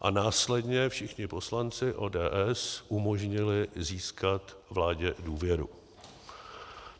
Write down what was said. a následně všichni poslanci ODS umožnili získat vládě důvěru.